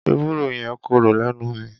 Ewúro yẹn korò lẹ́nu mi.